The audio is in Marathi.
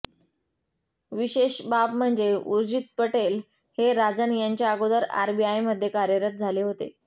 विशेष बाब म्हणजे ऊर्जीत पटेल हे राजन यांच्या अगोदर आरबीआयमध्ये कार्यरत झाले होते